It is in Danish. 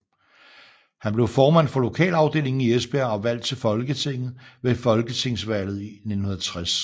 Han blev formand for lokalafdelingen i Esbjerg og valgt til Folketinget ved folketingsvalget 1960